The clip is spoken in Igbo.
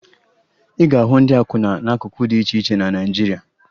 Ị ga-ahụ ndị akwụna n'akụkụ dị iche iche na Naịjirịa